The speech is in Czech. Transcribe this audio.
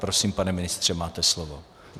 Prosím, pane ministře, máte slovo.